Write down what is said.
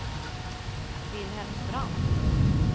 Wilhelm Brandt